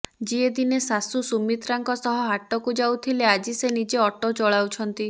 ଯିଏ ଦିନେ ଶାଶୁ ସୁମିତ୍ରାଙ୍କ ସହ ହାଟକୁ ଯାଉଥିଲେ ଆଜି ସେ ନିଜେ ଅଟୋ ଚଲାଉଛନ୍ତି